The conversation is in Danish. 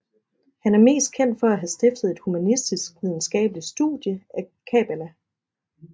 Han er mest kendt for at have stiftet et humanistisk videnskabeligt studie af kabbala